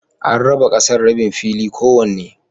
An raba ƙasar rabin fili kowanne.